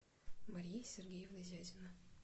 мария сергеевна зязина